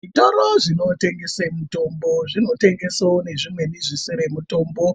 Zvitoro zvinotengese mitombo zvinotengesawo nezvimweni zvisiri mutombo.